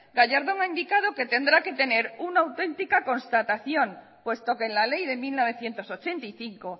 gallardón ha indicado que tendrá que tener una auténtica constatación puesto que en la ley de mil novecientos ochenta y cinco